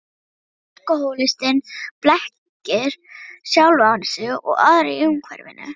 Alkohólistinn blekkir sjálfan sig og aðra í umhverfinu.